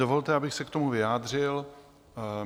Dovolte, abych se k tomu vyjádřil.